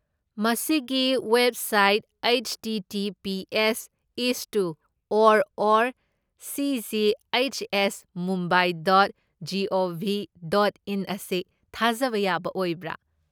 ꯃꯁꯤꯒꯤ website ꯍꯩꯠꯁꯇꯤꯇꯤꯄꯤꯑꯦꯁ ꯢꯁꯇꯨ or or ꯁꯤꯖꯤꯍꯩꯠꯁꯑꯦꯁꯃꯨꯝꯕꯥꯢ dot GOV dot in ꯑꯁꯤ ꯊꯥꯖꯕ ꯌꯥꯕ ꯑꯣꯏꯕ꯭ꯔꯥ?